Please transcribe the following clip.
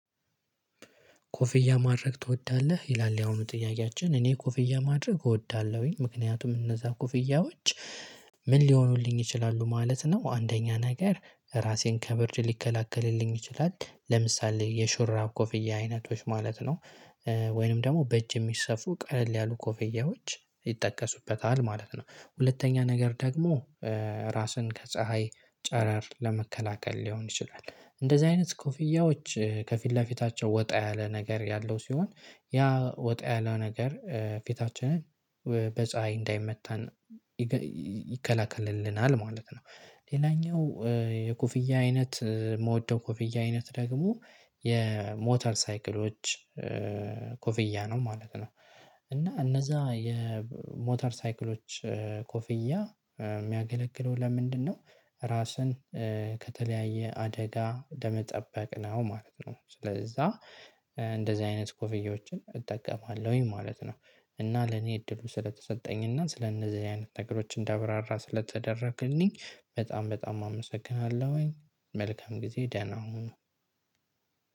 ኮፍያ ማድረግ ትወዳለህ? ይላል ያሁኑ ጥያቄያችን እኔ ኮፍያ ማድረግ እወዳለሁኝ ምክንያቱም እነዛ ኩፍያዎች ምን ሊሆኑልኝ ይችላሉ ማለት ነው። አንደኛ ነገር ራሴን ከብርድ ሊከላከልልኝ ይችላል ለምሳሌ የሹራብ ኮፍያ አይነቶች ማለት ነው። ወይንም ደግሞ በእጅ የሚሰፉ ቀለል ያሉ ኮፍያዎች ይጠቀሱበታል ማለት ነው። ሁለተኛ ነገር ደግሞ ራስን ከፀሀይ ጨረር ለመከላከል ሊሆን ይችላል እንደዚህ አይነት ኮፍያዎች ከፊት ለፊታቸው ወጣ ያለ ነገር ያለው ሲሆን ያ ወጣ ያለው ነገር ፊታችንን በፀሀይ እንዳይመታን ይከለክልልናል ማለት ነው። ሌላኛው የኮፍያ አይነት እምወደው ኮፍያ አይነት ደግሞ የሞተር ሳይክሎች ኮፍያ ነው ማለት ነው። እና እነዛ የሞተር ሳይክሎች ኮፍያ እሚያገለግለው ለምንድነው ራስን ከተለያየ አደጋ ለመጠበቅ ነው ማለት ነው። ስለዛ እንደዚህ አይነት ኮፍዬዎችን እጠቀማለሁኝ ማለት ነው። እና ለኔ እድሉ ስለተሰጠኝና ስለነዚህ አይነት ነገሮች እንዳብራራ ስለተደረገልኝ በጣም በጣም አመሰግናለሁኝ። መልካም ጊዜ ደህና ሁኑ።